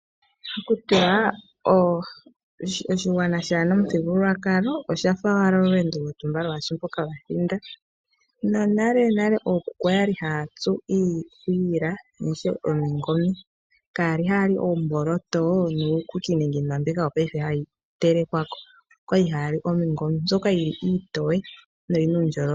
Ohakutiwa oshigwana kashina omuthigululwakalo oshafa owala olweendo lwatumba kalushi mpoka lwathinda. Monalenale okuku oyali haya tsu iikwiila noshowo omingome kayali hayali oomboloto, nuukuku nenge iinima mbyoka hayi telekwa ko . Okwali hayali omingome mbyoka yili iitoye no yina uundjolowele